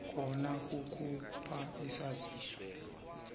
khona kukhupha isaziso